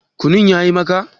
Kunun ya yi maka?